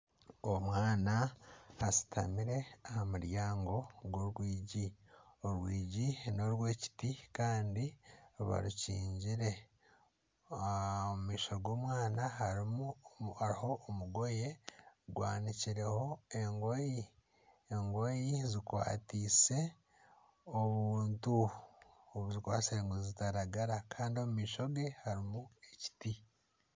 Omwana ashutamire aha muryaango gw'orwigi, orwigi n'orw'ekiti kandi barukingire omu maisho g'omwana harho omugoye gwanikireho engoye zikwatiise obuntu obuzikwatsire ngu zitaragara omu maisho gye harimu ekiti.